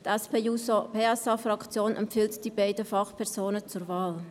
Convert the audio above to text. Die SP-JUSO-PSA-Fraktion empfiehlt die beiden Fachpersonen zur Wahl.